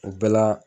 O bɛɛ la